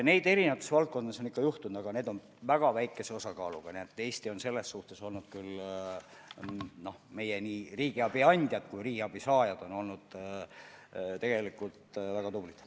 Neid on erinevates valdkondades ikka ette tulnud, aga need on väga väikese osakaaluga, nii et nii meie riigiabi andjad kui ka riigiabi saajad on olnud selles suhtes tegelikult väga tublid.